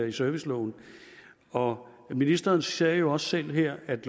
i serviceloven og ministeren sagde jo også selv her at